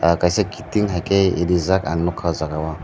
ahh kaisa kiting haike reejak ang nukha ah jaaga o.